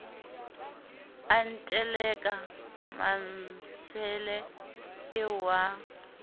a nteleka mmantshele eo wa